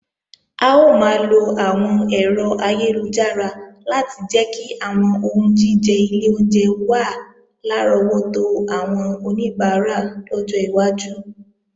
A ó máa lo àwọn ẹ̀rọ ayélujára láti jẹ́ kí àwọn oúnjíjẹ ilé oúnjẹ wà lárọ́wọ́tó àwọn oníbàárà lọ́jọ́ iwájú